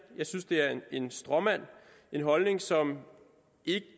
jeg synes det er en stråmand en holdning som